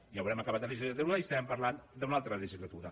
ja haurem acabat la legislatura i estarem parlant d’una altra legislatura